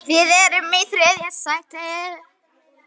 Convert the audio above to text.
Þaðan kemur líklega rauða hárið.